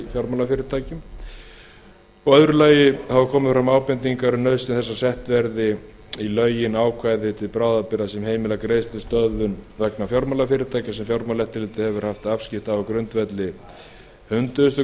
fjármálafyrirtækjum í öðru lagi hafa komið fram ábendingar um nauðsyn þess að sett verði í lögin ákvæði til bráðabirgða sem heimilar greiðslustöðvun vegna fjármálafyrirtækja sem fjármálaeftirlitið hefur haft afskipti af á grundvelli hundrað